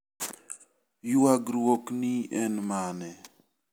Ywagruok ni en mane?